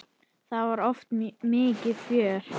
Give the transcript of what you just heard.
Það var oft mikið fjör.